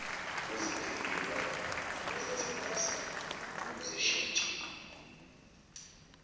ukuzidiliva nokuzithengisa nokuzishintsha